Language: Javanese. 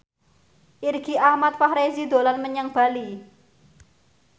Irgi Ahmad Fahrezi dolan menyang Bali